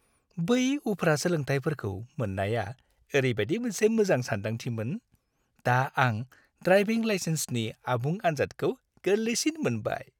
बै उफ्रा सोलोंथायफोरखौ मोन्नाया ओरैबायदि मोनसे मोजां सानदांथिमोन! दा आं ड्राइभिं लाइसेन्सनि आबुं आन्जादखौ गोरलैसिन मोनबाय।